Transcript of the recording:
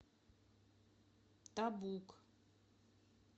табук